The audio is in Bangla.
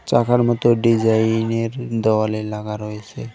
চাকার মতো ডিজাইন -এর দলের লাগা রয়েসে।